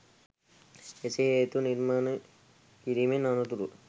එසේ හේතු නිර්මාණය කිරීමෙන් අනතුරුව